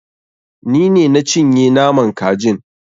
Ni ne na cinye naman kajin.